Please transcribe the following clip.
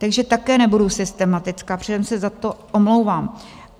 Takže také nebudu systematická, předem se za to omlouvám.